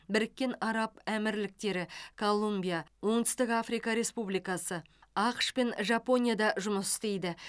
біріккен араб әмірліктері колумбия оңтүстік африка республикасы ақш пен жапонияда жұмыс істейді